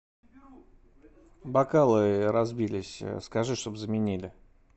бокалы разбились скажи чтобы заменили